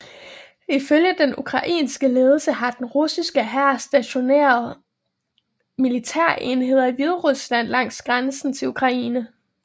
Ifølge den ukrainske ledelse har den russiske hær stationeret militærenheder i Hviderusland langs grænsen til Ukraine